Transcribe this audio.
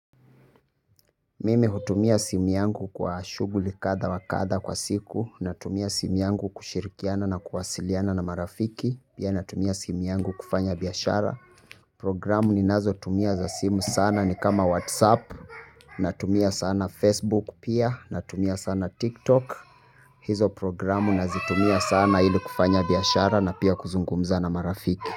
Mimi hutumia simu yangu kwa shughuli kadha wa kadha kwa siku. Natumia simu yangu kushirikiana na kuwasiliana na marafiki. Pia natumia simu yangu kufanya biashara. Programu ninazotumia za simu sana ni kama Whatsapp. Natumia sana Facebook pia. Natumia sana TikTok. Hizo programu nazitumia sana ili kufanya biashara na pia kuzungumza na marafiki.